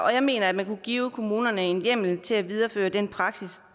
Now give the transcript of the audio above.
og jeg mener at man kunne give kommunerne en hjemmel til at videreføre den praksis